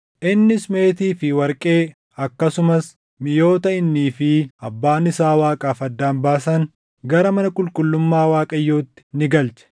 Innis meetii fi warqee akkasumas miʼoota innii fi abbaan isaa Waaqaaf addaan baasan gara mana qulqullummaa Waaqayyootti ni galche.